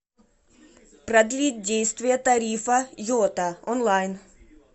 продлить действие тарифа йота онлайн